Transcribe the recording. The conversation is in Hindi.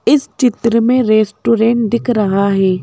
इस चित्र में रेस्टोरेंट दिख रहा है।